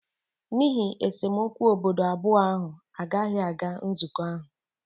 n'ihi esemokwu obodo abụọ ahụ agaghị aga nzukọ ahụ